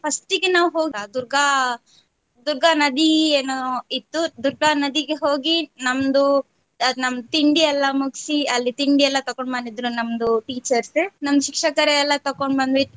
First ಗೆ ನಾವ್ ಹೋದ ದುರ್ಗಾ ದುರ್ಗಾ ನದಿಗೆ ಏನೊ ಇತ್ತು ದುರ್ಗಾ ನದಿಗೆ ಹೋಗಿ ನಮ್ದು ನಮ್ದು ತಿಂಡಿ ಎಲ್ಲಾ ಮುಗ್ಸಿ ಅಲ್ಲಿ ತಿಂಡಿ ಎಲ್ಲಾ ತಗೊಂಡ್ ಬಂದಿದ್ರು ನಮ್ದು teachers ನಮ್ಮ್ ಶಿಕ್ಷಕರೆ ಎಲ್ಲಾ ತಗೊಂಡ್ ಬಂದ್ವಿ.